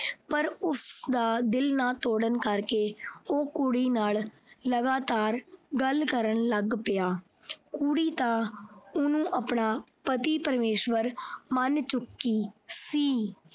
ਪਰ ਉਸ ਦਾ ਦਿਲ ਨਾ ਤੋੜਨ ਕਰਕੇ ਉਹ ਲਗਾਤਾਰ ਕੁੜੀ ਨਾਲ ਗੱਲ ਕਰਨ ਲੱਗ ਪਿਆ। ਕੁੜੀ ਤਾਂ ਉਹਨੂੰ ਆਪਣਾ ਪਤੀ ਪਰਮੇਸ਼ਵਰ ਮੰਨ ਚੁੱਕੀ ਸੀ।